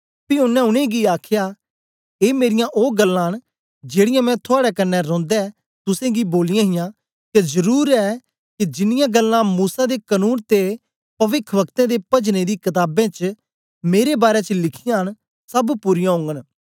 पी ओनें उनेंगी आखया ए मेरीयां ओ गल्लां न जेड़ीयां मैं थुआड़े कन्ने रौंदे तुसेंगी बोलियां हां के जरुर ऐ के जिनियां गल्लां मूसा दे कनून ते पविखवक्तें ते पजने दी कताबें च मेरे बारै च लिखीयां न सब पूरीयां ओगन